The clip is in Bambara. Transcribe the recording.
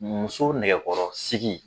Muso nɛgɛkɔrɔsigi